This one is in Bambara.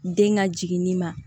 Den ka jiginni ma